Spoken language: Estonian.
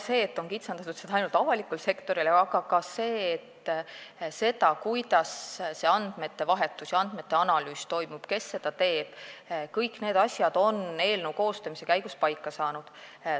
See, et seda on kitsendatud ja see kehtib ainult avalikus sektoris, aga ka see, kuidas toimub andmete vahetus ja analüüs, kes seda teeb – kõik need asjad on eelnõu koostamise käigus paika saanud.